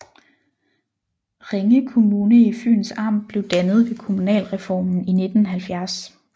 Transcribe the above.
Ringe Kommune i Fyns Amt blev dannet ved kommunalreformen i 1970